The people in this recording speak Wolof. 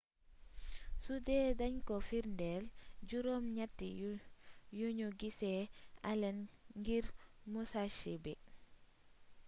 sudee dañ ko firndeel juróom ñatti yuñu gisee allen ngir musashi bi